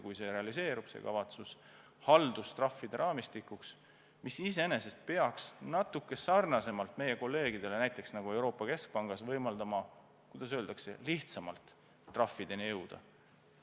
Kui see kavatsus realiseerub, siis see iseenesest peaks natuke rohkem sarnaselt meie kolleegidega näiteks Euroopa Keskpangas võimaldama lihtsamini trahvideni jõuda.